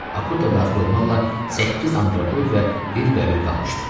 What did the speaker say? Akuta daxil olmaqla səkkiz antropoid və bir bəbir qalmışdı.